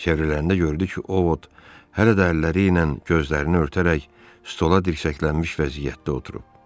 Çevriləndə gördü ki, Ovod hələ də əlləri ilə gözlərini örtərək stola dirsəklənmiş vəziyyətdə oturub.